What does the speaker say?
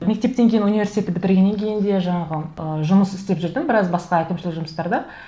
мектептен кейін университетті бітіргеннен кейін де жаңағы ы жұмыс істеп жүрдім біраз басқа әкімшілік жұмыстарда